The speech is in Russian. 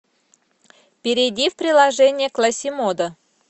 перейди в приложение классимодо